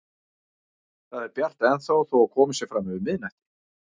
Það er bjart ennþá þó að komið sé fram yfir miðnætti.